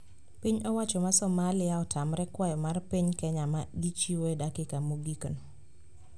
Piny owacho ma Somalia otamre kwayo mar piny Kenya ma gichiwo e dakika mogikno